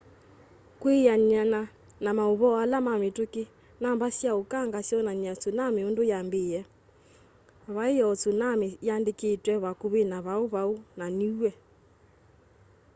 kwianana na mauvoo ala mamituki namba sya ukanga syonany'a tsunami undu yambiie vai o tsunami yaandikitwe vakuvi na pago pago na niue